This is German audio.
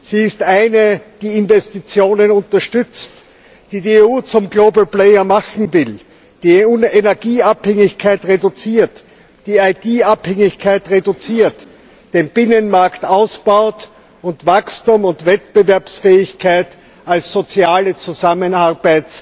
Sie ist eine, die Investitionen unterstützt, die die EU zum global player machen will, die Energieabhängigkeit reduziert, die IT Abhängigkeit reduziert, den Binnenmarkt ausbaut und Wachstum und Wettbewerbsfähigkeit als Aktivität des sozialen Zusammenhalts